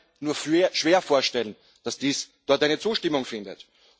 Ich kann mir nur sehr schwer vorstellen, dass dies dort eine Zustimmung findet.